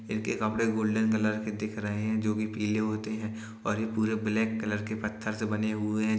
इनके कपड़े golden colour के दिख रहे हैं जो कि पीले होते हैं और ये पूरे ब्लैक कलर के पत्थर से बने हुए हैं।